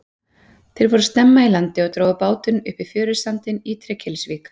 Þeir voru snemma í landi og drógu bátinn upp í fjörusandinn í Trékyllisvík.